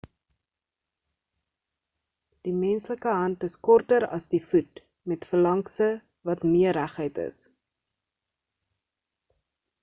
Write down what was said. die menslike hand is korter as die voet met phalankse wat meer reguit is